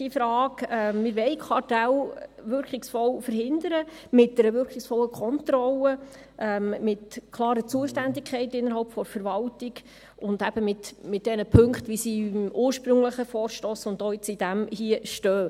Wir wollen Kartelle wirkungsvoll verhindern, mit einer wirkungsvollen Kontrolle, mit klaren Zuständigkeiten innerhalb der Verwaltung, und eben, mit den Punkten, die im ursprünglichen Vorstoss stehen, und jetzt auch in diesem hier.